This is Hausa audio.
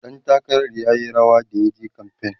ɗan takarar r yayi rawa da yaje kamfain